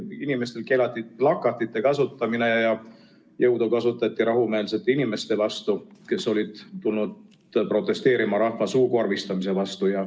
Inimestel keelati plakatite kasutamine ja jõudu kasutati rahumeelsete inimeste vastu, kes olid tulnud protesteerima rahva suukorvistamise vastu.